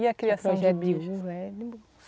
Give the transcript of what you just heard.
E a criação de bicho?